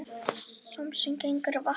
Sá sem gengur á vatni